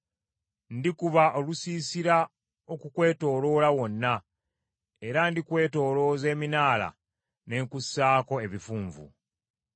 Ndikuba olusiisira okukwetooloola wonna, era ndikwetoolooza eminaala, ne nkusaako ebifunvu.